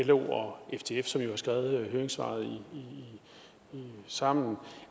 lo og ftf som jo har skrevet et høringssvar sammen